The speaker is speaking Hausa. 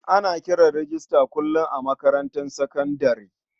Akan kira rejista kullum a makarantar sakandare.